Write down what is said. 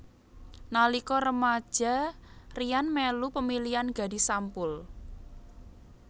Nalika remaja Ryan melu pemilihan Gadis Sampul